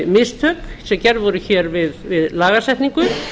mistök sem gerð voru hér við lagasetningu